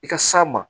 I ka s'a ma